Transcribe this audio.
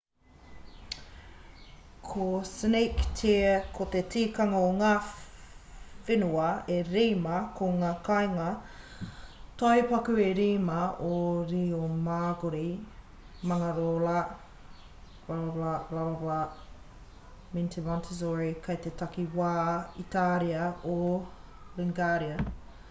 ko cinque terre ko te tikanga ko ngā whenua e rima ko ngā kāinga tai paku e rima o riomaggiore manarola corniglia vernazza me monterosso kei te takiwā itāria o liguria